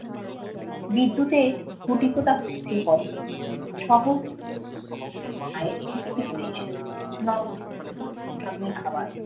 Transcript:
বিদ্যুতের খুঁটি পোঁতা হচ্ছিল কদিন থেকে। শহরে গায়ে ঠিকই উড়ে এসে পড়বে খাবার